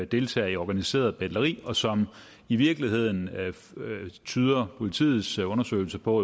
deltager i organiseret betleri og som i virkeligheden tyder politiets undersøgelse på